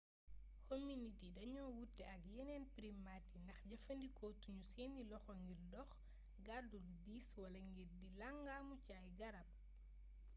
hominide yi dañu wuute ak yeneen primate yi ndax jëfandikootu ñu seeni loxo ngir dox gàddu lu diis wala ngir di langaamu ci ay garab